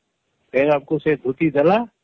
ସେଗା କୁ ସେ ଧୁତି ଦେଲା